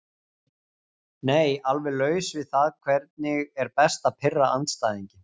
Nei alveg laus við það Hvernig er best að pirra andstæðinginn?